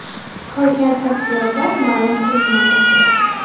Qolgan tafsilotlar ma’lum qilinmayapti.